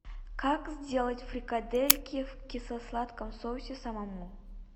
как сделать фрикадельки в кисло сладком соусе самому